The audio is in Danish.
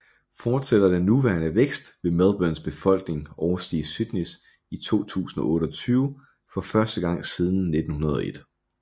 Fortsætter den nuværende vækst vil Melbournes befolkning overstige Sydneys i 2028 for første gang siden 1901